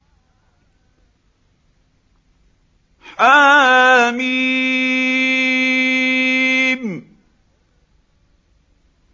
حم